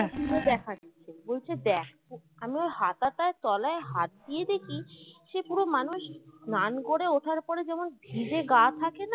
খুলে দেখাচ্ছে বলছে দেখ আমি ওর হাতাটা তলায় হাত দিয়ে দেখি সে পুরো মানুষ স্নান করে ওঠার পরে যেমন ভিজে গা থাকেনা